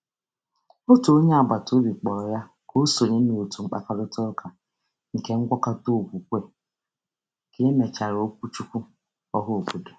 Otu onye agbataobi kpọrọ ya ka o sonye n’òtù mkparịtaụka nke ngwakọta okwukwe ka e mechara okwuchukwu ọhaobodo.